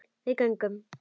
Við göngum